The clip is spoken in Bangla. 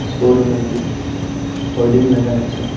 শোরুম -এর ম হোর্ডিং লাগাইছে ।